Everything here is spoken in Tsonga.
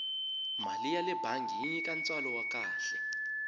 mali yale bangi yi nyika ntswalo wa kahle